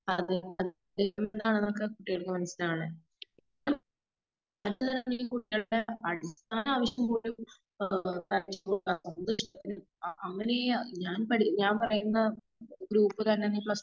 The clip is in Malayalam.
മാതാപിതാക്കൾക്ക് കുട്ടികളുടെ അടിസ്ഥാനവശ്യം പോലും ആ ആ അങ്ങനെയാ ഞാൻ പഠി ഞാൻ പറയുന്ന ഗ്രുപ്പിൽ നീ